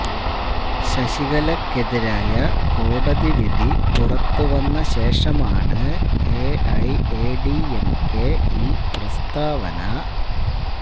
ശശികലയ്ക്കെതിരായ കോടതി വിധി പുറത്ത് വന്നശേഷമാണ് എഐഎഡിഎംകെ ഈ പ്രസ്താവന